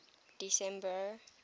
december